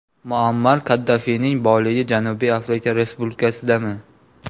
Muammar Kaddafining boyligi Janubiy Afrika Respublikasidami?